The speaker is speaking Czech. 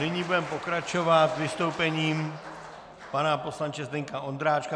Nyní budeme pokračovat vystoupením pana poslance Zdeňka Ondráčka.